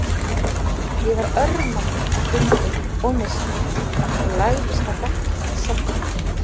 Ég var örmagna af göngunni og neyslunni og lagðist á bekkinn og sofnaði.